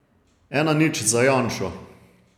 Ena nič za Janšo.